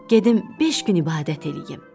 Gedim beş gün ibadət eləyim.